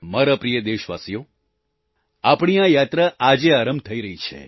મારા પ્રિય દેશવાસીઓ આપણી આ યાત્રા આજે આરંભ થઈ રહી છે